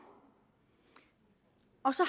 og så